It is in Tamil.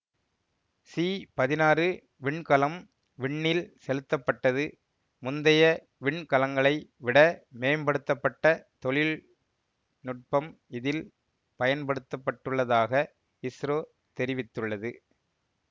சி பதினாறு விண்கலம் விண்ணில் செலுத்தப்பட்டது முந்தைய விண்கலங்களை விட மேம்படுத்த பட்ட தொழில் நுட்பம் இதில் பயன்படுத்தப்பட்டுள்ளதாக இஸ்ரோ தெரிவித்துள்ளது